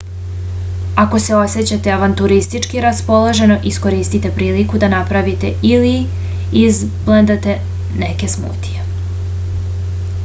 ako se osećate avanturistčki raspoloženo iskoristite priliku da napravite ili izblendate neke smutije